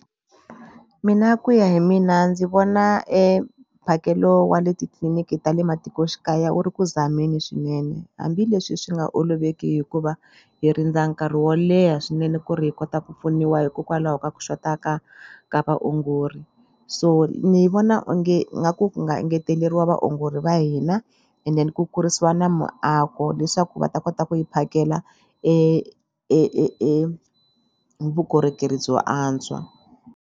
Mina ku ya hi mina ndzi vona mphakelo wa le titliliniki ta le matikoxikaya wu ri ku zameleni swinene hambileswi swi nga oloveki hikuva hi rindza nkarhi wo leha swinene ku ri hi kota ku pfuniwa hikokwalaho ka ku xota ka ka vaongori so ni vona onge nga ku nga engeteleriwa vaongori va hina and then ku kurisiwa na muako leswaku va ta kota ku hi phakela vukorhokeri byo antswa.